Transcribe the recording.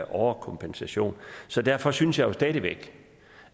overkompensation så derfor synes jeg jo stadig væk